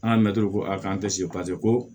An ka mɛtiriw ko a k'an paseke ko